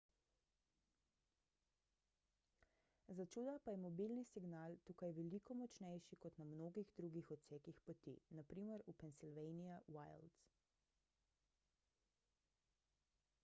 začuda pa je mobilni signal tukaj veliko močnejši kot na mnogih drugih odsekih poti npr. v pennsylvania wilds